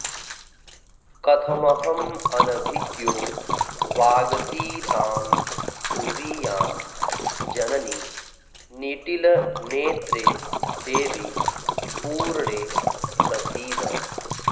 कथमहमनभिज्ञो वागतीतां स्तुवीयां जननि निटिलनेत्रे देवि पूर्णे प्रसीद